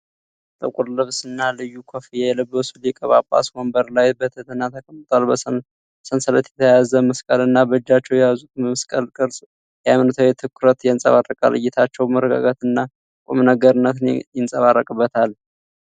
ጥቁር ልብስና ልዩ ኮፍያ የለበሱ ሊቀ ጳጳስ ወንበር ላይ በትህትና ተቀምጠዋል። በሰንሰለት የተያዘ መስቀልና በእጃቸው የያዙት የመስቀል ቅርጽ የሃይማኖታዊ ትኩረትን ያንፀባርቃል። እይታቸው መረጋጋትና ቁምነገርነት ይንጸባረቅበታል።